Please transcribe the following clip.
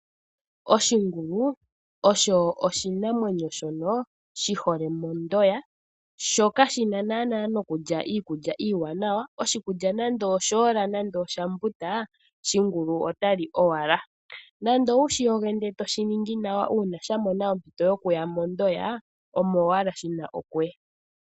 Oshingulu osho oshinamwenyo shono shi hole mondoya sho kashina naana nokulya iikulya iiwanawa. Oshikulya nande oshoola nande oshambuta shingulu otali owala. Nando owushiyoge ndele etoshiningi nawa uuna sha mona ompito yokuya mondoya omo owala shina okuya.